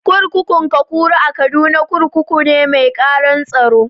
Kurkukun Kakuri a Kaduna, kurkukun mai ƙaran tsaro ne.